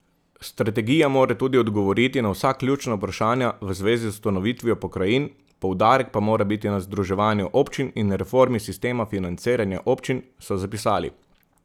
Strategija mora tudi odgovoriti na vsa ključna vprašanja v zvezi z ustanovitvijo pokrajin, poudarek pa mora biti na združevanju občin in reformi sistema financiranja občin, so zapisali.